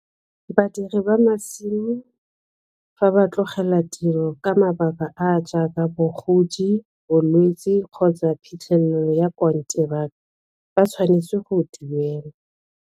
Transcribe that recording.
Badiri ba masimo fa ba tlogela tiro ka mabaka a a jaaka bogodi, bolwetsi kgotsa phitlhelelo ya kontraka ba tshwanetse go duelwa.